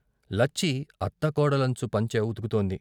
లచ్చి అత్తకోడలంచు పంచ ఉతుకుతోంది.